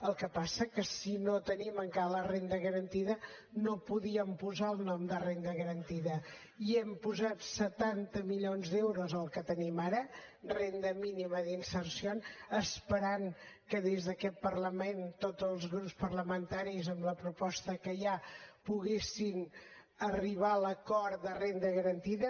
el que passa és que si no tenim encara la renda garantida no podíem posar el nom de renda garantida i hem posat setanta milions d’euros al que tenim ara renda mínima d’inserció esperant que des d’aquest parlament tots els grups parlamentaris amb la proposta que hi ha poguessin arribar a l’acord de renda garantida